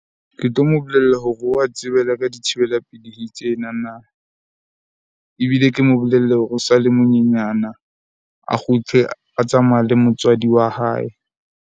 Ke tlo mo bolella hore wa tsebela ka dithibela pelehi tsena na. Ebile ke mo bolelle hore o sa le manyenyana a kgutle a tsamaya le motswadi wa hae.